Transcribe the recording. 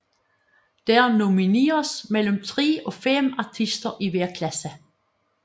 Der nomineres mellem tre og fem artister i hver klasse